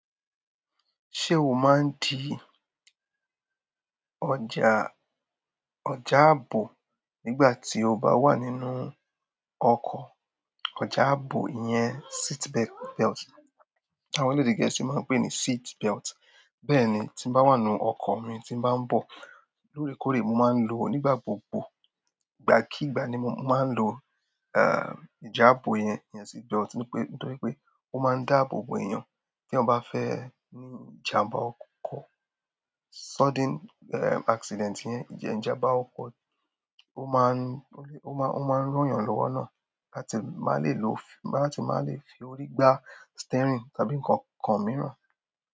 Ṣé o máa ń di ọjà, ọ̀já ààbò nígbà tí o bá wà nínú ọkọ̀? Ọ̀já ààbò ìyẹn seat belt. Tí àwọn elédè Gẹ̀ẹ́sì ma ń pè ní seat belt. Bẹ́ẹ̀ ni, tí n bá wà nínú ọkọ̀ mi tí n bá ń bọ̀ lóòrèkóòrè, mo máa ń lò ó nígbà gbogbo. Ìgbà kí ìgbà ni mo máa ń lòó, eh, ọ̀já ààbò yẹn, ìyẹn seat belt, nítorí pé ó máa ń dáàbò bo èèyàn téyàn bá fẹ́ ní ìjàmbá ọkọ̀. Sudden, eh, accident yẹn, ìjàmbá ọkọ̀ ó máa ń, ó máa ń, ó máa ń ràn yàn lọ́wọ́ náà láti má lè lò, láti má lè fi orí gbá steering tàbí nǹkan kan mìíràn.